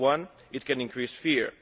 One, it can increase fear.